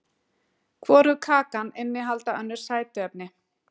Hvorug kakan innihaldi önnur sætuefni.